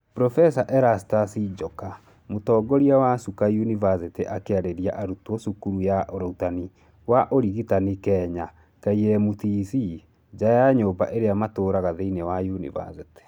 Prof Erastus Njoka mũtongoria wa Chuka ũniversity akĩarĩria arutwo cukuru ya ũrutani wa ũrigitani Kenya KMTC nja ya nyũmba ĩrĩa matũũraga thĩinĩ wa yunivasĩtĩ.